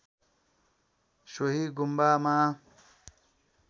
सोहि गुम्बामा